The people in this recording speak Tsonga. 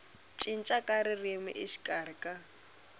cinca ka ririmi exikarhi ka